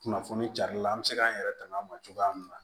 Kunnafoni carila an be se k'an yɛrɛ tanga ma cogoya min na